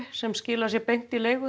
sem skilar sér beint í leigu